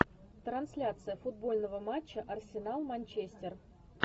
трансляция футбольного матча арсенал манчестер